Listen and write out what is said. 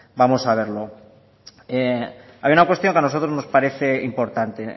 vamos a verlo hay una cuestión que a nosotros nos parece importante